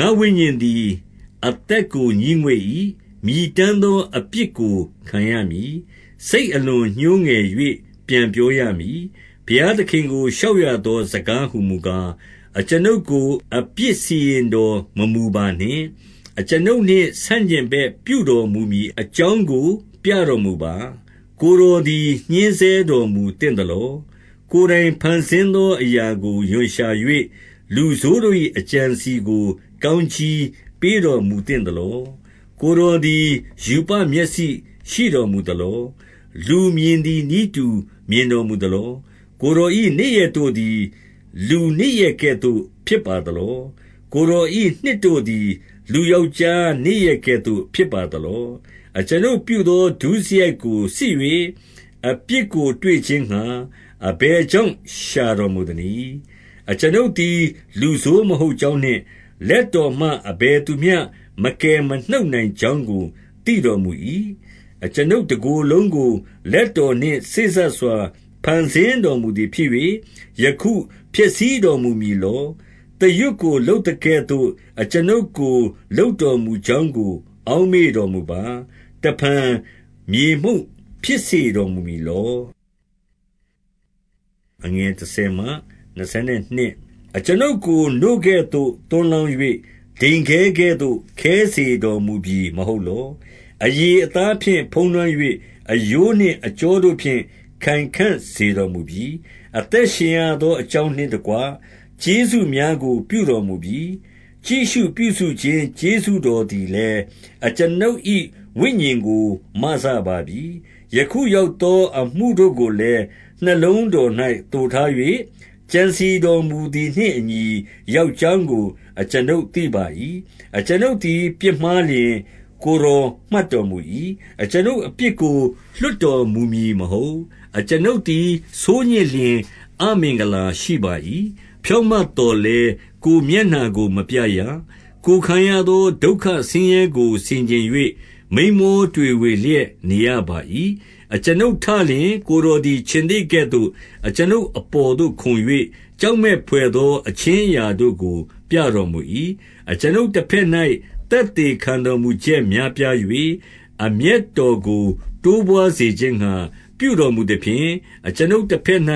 ငါ့ဝိညာဉ်သည် အသက်ကိုငြီးငွေ့၏။ မြည်တမ်း သောအပြစ်ကို ခံရမည်။ စိတ်အလွန်ညှိုးငယ်၍ ပြောရ မည်။ 2 ဘုရားသခင်ကို လျှောက်ရသောစကားဟူမူကား၊ အကျွန်ုပ်ကို အပြစ်စီရင်တော် မမူပါနှင့်။ အကျွန်ုပ်နှင့် ဆန့်ကျင်ဘက်ပြုတော်မူမည်အကြောင်းကို ပြတော်မူပါ။ 3 ကိုယ်တော်သည်ညှဉ်းဆဲတော်မူသင့်သလော။ ကိုယ်တိုင်ဖန်ဆင်းသောအရာကို ရွံရှာ၍၊ လူဆိုးတို့၏ အကြံအစည်ကို ကောင်းကြီးပေးတော်မူသင့်သလော။ 4 ကိုယ်တော်သည် ရူပမျက်စိရှိတော်မူသလော။ လူမြင်သည်နည်း တူမြင်တော်မူသလော။ 5 ကိုယ်တော်၏နေ့ရက်တို့သည် လူနေ့ရက်ကဲ့သို့ ဖြစ်ပါသလော။ ကိုယ်တော်၏နှစ်တို့သည် လူယောက်ျား နေ့ရက်ကဲ့သို့ ဖြစ်ပါသလော။ 6 အကျွန်ုပ်ပြုသော ဒုစရိုက်ကိုစစ်၍ အပြစ်ကို တွေ့ခြင်းငှါ အဘယ်ကြောင့် ရှာတော်မူသနည်း။ 7 အကျွန်ုပ်သည် လူဆိုးမဟုတ်ကြောင်းနှင့် လက်တော်မှ အဘယ်သူမျှမကယ်မနှုတ်နိုင်ကြောင်းကို သိတော်မူ၏။ 8 အကျွန်ုပ်တကိုယ်လုံးကို လက်တော်နှင့်စေ့စပ်စွာ ဖန်ဆင်းတော်မူသည်ဖြစ်၍၊ ယခုဖျက်ဆီးတော်မူမည် လော။ 9 သရွတ်ကိုလုပ်သကဲ့သို့ အကျွန်ုပ်ကိုလုပ်တော်မူကြောင်းကို အောက်မေ့တော်မူပါ။ တဖန်မြေမှုန့် ဖြစ်စေတော်မူမည်လော။ 10 အကျွန်ုပ်ကိုနို့ကဲ့သို့ သွန်းလောင်း၍၊ ဒိန်ခဲကဲ့သို့ ခဲစေတော်မူပြီ မဟုတ်လော။ 11 အရေအသားဖြင့်ဖုံးလွှမ်း၍၊ အရိုးနှင့်အကြော တို့ဖြင့် ခိုင်ခံ့စေတော်မူပြီ။ 12 အသက်ရှင်ရသောအကြောင်းနှင့်တကွ ကျေးဇူးများကိုပြုတော်မူပြီ။ ကြည့်ရှုပြုစုခြင်း ကျေးဇူးတော်သည် လည်း အကျွန်ုပ်၏ဝိညာဉ်ကိုမစပါပြီ။ 13 ယခုရောက်သောအမှုတို့ကိုလည်း၊ နှလုံးတော်၌သိုထား၍ ကြံစည်တော်မူသည်နှင့်အညီ ရောက်ကြောင်း ကို အကျွန်ုပ်သိပါ၏။ 14 အကျွန်ုပ်သည် ပြစ်မှားလျှင်၊ ကိုယ်တော် မှတ်တော်မူ၏။ အကျွန်ုပ်အပြစ်ကို လွှတ်တော်မူမည် မဟုတ်။ 15 အကျွန်ုပ်သည်ဆိုးညစ်လျှင် အမင်္ဂလာရှိပါ၏။ ဖြောင့်မတ်သော်လည်း ကိုယ်မျက်နှာကိုမပြရ။ ကိုယ်ခံရသော ဒုက္ခဆင်းရဲကို ဆင်ခြင်၍ မိန်းမောတွေဝေလျက် နေရ ပါ၏။ 16 အကျွန်ုပ်ထလျှင် ကိုယ်တော်သည် ခြင်္သေ့ကဲ့သို့ အကျွန်ုပ်အပေါ်သို့ ခုန်၍ ကြောက်မက်ဘွယ်သော အခြင်းအရာတို့ကို ပြတော်မူ၏။ 17 အကျွန်ုပ်တဘက်၌ သက်သေခံတော်မူချက် များပြား၍၊ အမျက်တော်ကို တိုးပွါးစေခြင်းငှါ ပြုတော် မူသဖြင့်၊ အကျွန်ုပ်တဘက်၌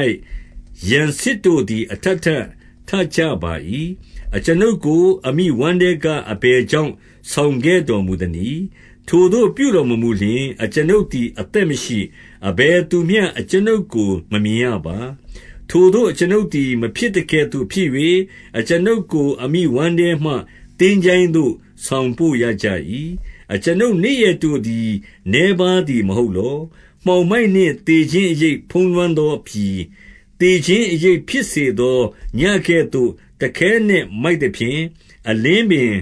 ရန်စစ်တို့သည် အထပ် ထပ်ထကြပါ၏။ 18 အကျွန်ုပ်ကို အမိဝမ်းထဲက အဘယ်ကြောင့် ဆောင်ခဲ့တော်မူသနည်း။ ထိုသို့ပြုတော်မမူလျှင် အကျွန်ုပ် သည်အသက်မရှိ၊ အဘယ်သူမျှ အကျွန်ုပ်ကိုမမြင်ရပါ။ 19 ထိုသို့ အကျွန်ုပ်သည် မဖြစ်သကဲ့သို့ဖြစ်၍၊ အကျွန်ုပ်ကိုအမိဝမ်းထဲမှ သင်္ချိုင်းသို့ ဆောင်ပို့ရကြ၏။ 20 အကျွန်ုပ် နေ့ရက်တို့သည် နည်းပါးသည် မဟုတ် လော။ 21 မှောင်မိုက်နှင့်သေခြင်း အရိပ်ဖုံးလွှမ်းသောပြည်၊ 22 သေခြင်းအရပ်ဖြစ်စေသော ညဉ့်ကဲ့သို့တခဲနက်မိုက်သဖြင့်၊ အလင်းပင်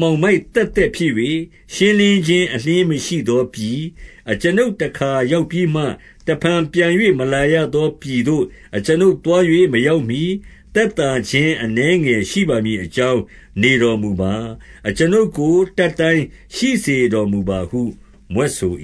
မှောင်မိုက်သက်သက်ဖြစ်၍၊ ရှင်းလင်းခြင်းအလျှင်၊ မရှိသောပြည်၊ အကျွန်ုပ်တခါရောက်ပြီးမှ တဖန်ပြန်၍ မလာရသောပြည်သို့ အကျွန်ုပ် သား၍မရောက်မှီ၊ သက်သာခြင်း အနည်းငယ်ရှိပါမည် အကြောင်းနေတော်မူပါ။ အကျွန်ုပ်ကို တတ်တိုင်းရှိစေ တော်မူပါဟု မြွတ်ဆို